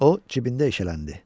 O cibində eşələndi.